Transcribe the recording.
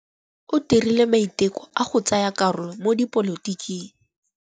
O dirile maitekô a go tsaya karolo mo dipolotiking.